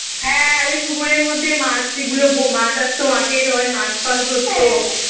হ্যাঁ আরে পুকুরের মধ্যে মাছগুলো ভো মাছ আসতো মাঠে সবাই মাছ ফাছ ধরতো